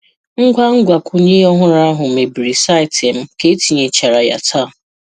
Ngwa mgbakwunye ọhụrụ ahụ mebiri saịtị m ka etinyechara ya taa.